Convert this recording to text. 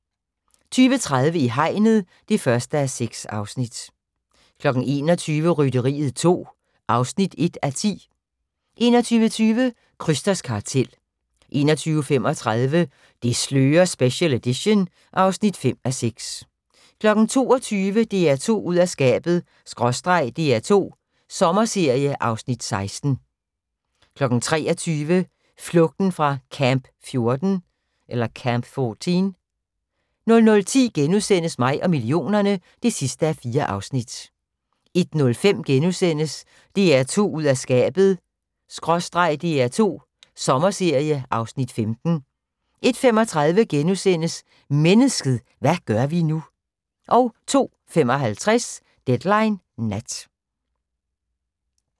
20:30: I hegnet (1:6) 21:00: Rytteriet 2 (1:10) 21:20: Krysters kartel 21:35: Det slører special edition (5:6) 22:00: DR2 ud af skabet/ DR2 Sommerserie (Afs. 16) 23:00: Flugten fra Camp 14 00:10: Mig og millionerne (4:4)* 01:05: DR2 ud af skabet/ DR2 Sommerserie (Afs. 15)* 01:35: Mennesket – hvad gør vi nu? * 02:55: Deadline Nat